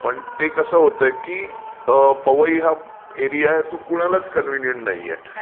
पण ते कसं होतय की पवई हा एरिया आहे तो कोणालाच कन्व्हिंनियंट नाहीये.